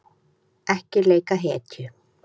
Ekki leika hetju